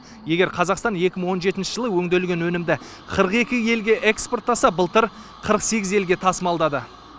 егер қазақстан екі мың он жетінші жылы өңделген өнімді қырық екі елге экспорттаса былтыр қырық сегіз елге тасымалдады